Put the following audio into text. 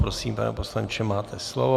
Prosím, pane poslanče, máte slovo.